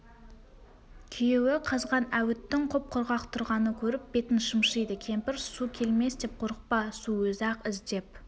күйеуі қазған әуіттің құп-құрғақ тұрғанын көріп бетін шымшиды кемпір су келмес деп қорықпа су өзі-ақ іздеп